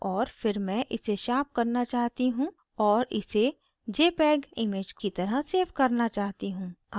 और फिर मैं इसे sharpen करना चाहती हूँ और इसे jpeg image की तरह सेव करना चाहती हूँ